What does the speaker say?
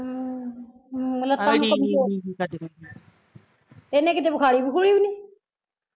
ਇਹਨੇ ਕਿਤੇ ਵਖਾਲੀ ਵਉਖਲੀਂ ਵੀ ਨੀ